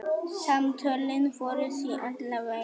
Samtölin voru því alla vega.